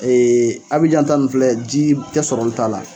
Ee Abijan ta ni filɛ ji tɛ sɔrɔ olu t'a la.